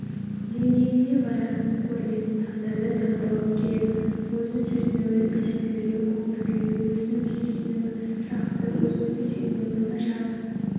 деңгейіне байланысты көрінетін сандарды таңбалау керек өзін сезінуі белсенділігі көңіл-күйі өзін-өзі сезінуі жақсы өзін-өзі сезінуі нашар